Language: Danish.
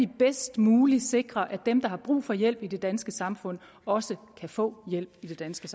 det bedst muligt sikres at dem der har brug for hjælp i det danske samfund også kan få hjælp i det danske